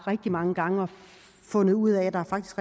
rigtig mange gange og fundet ud af at der faktisk